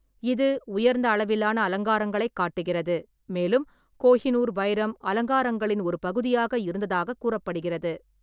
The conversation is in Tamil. இது உயர்ந்த அளவிலான அலங்காரங்களைக் காட்டுகிறது, மேலும் கோஹினூர் வைரம் அலங்காரங்களின் ஒரு பகுதியாக இருந்ததாகக் கூறப்படுகிறது.